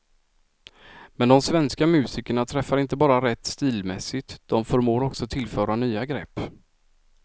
Men de svenska musikerna träffar inte bara rätt stilmässigt, de förmår också tillföra nya grepp.